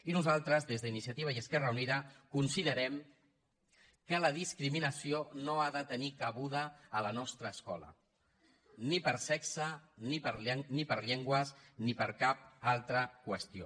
i nosaltres des d’iniciativa i esquerra unida considerem que la discriminació no ha de tenir cabuda a la nostra escola ni per sexe ni per llengües ni per cap altra qüestió